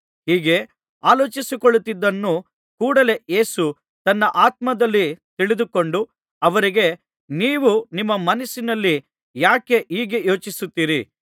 ಹೀಗೆ ಆಲೋಚಿಸಿಕೊಳ್ಳುತ್ತಿದ್ದುದನ್ನು ಕೂಡಲೆ ಯೇಸು ತನ್ನ ಆತ್ಮದಲ್ಲಿ ತಿಳಿದುಕೊಂಡು ಅವರಿಗೆ ನೀವು ನಿಮ್ಮ ಮನಸ್ಸಿನಲ್ಲಿ ಯಾಕೆ ಹೀಗೆ ಯೋಚಿಸುತ್ತೀರಿ